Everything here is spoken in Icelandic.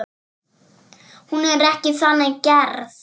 Hún er ekki þannig gerð.